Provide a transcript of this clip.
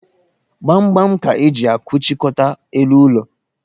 Gbamgbam ka e ji akụchikọta elu ụlọ